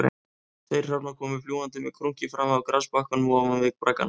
Tveir hrafnar komu fljúgandi með krunki fram af grasbakkanum ofan við braggana